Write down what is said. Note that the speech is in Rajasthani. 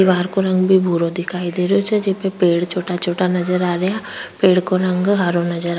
दिवार का रंग भी भूरो दिखाई दे रहो छे जेमे पेड़ छोटा छोटा नजर आ रहा पेड़ को रंग हरो नजर --